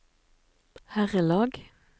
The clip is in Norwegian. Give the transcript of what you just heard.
herrelag